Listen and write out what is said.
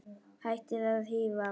Hættið að hífa!